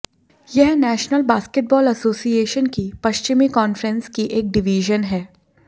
यह national basketball association की पश्चिमी कांफ़्रेंस की एक डिवीज़न है